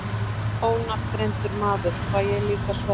Ónafngreindur maður: Fæ ég líka sverð?